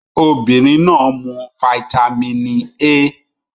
Obinrin naa mu fáítámínì A